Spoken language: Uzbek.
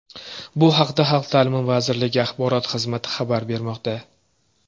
Bu haqda Xalq ta’limi vazirligi axborot xizmati xabar bermoqda .